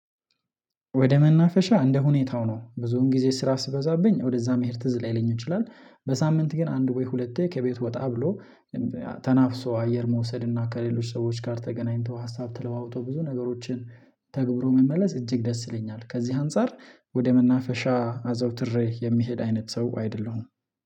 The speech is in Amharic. ወደ መናፈሻ እንደ ሁኔታው ነው ብዙውን ጊዜ ስራ ሲበዛብኚኝ ወደዛ መሄድ ትዝ ላይለኝ ይችላል። በሳምንት ግን አንድ ወይ ሁለቴ ከቤቱ ወጣ ብሎ ተናፍሶ አየር መውሰድ እና ከሌሎች ሰዎች ጋር ተገናኝቶ ሀሳብ ተለዋውጦ ብዙ ነገሮችን ተግብሮ መመለስ እጅግ ደስ ይለኛል። ከዚህ አንፃር ወደ መናፈሻ አዘውትሬ የምሄድ አይነት ሰው አይደለሁም።